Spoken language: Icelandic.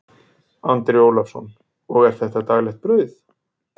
Andri Ólafsson: Og er þetta daglegt brauð?